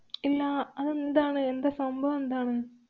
ഇല്ലാ. അതെന്താണ്? എന്താ സംഭവം എന്താണ്?